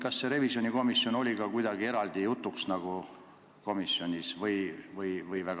Kas revisjonikomisjon oli teil kuidagi eraldi jutuks või ei olnud?